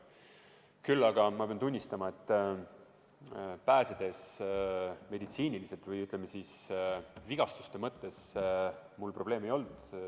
Mina pean tunnistama, et pääsenuna mul vigastuste mõttes probleeme ei olnud.